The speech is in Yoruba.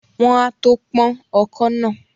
Wọ́n á tó pọ́n ọkọ́ náà